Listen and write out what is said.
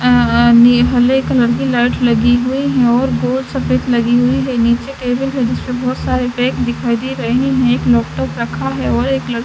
आ ने एक हरे कलर की लाइट लगी हुई है और गोल सफेद लगी हुई है नीचे टेबल है जिस पे बहोत सारे पेड़ दिखाई दे रहे हैं एक लैपटॉप रखा है और एक लड़ --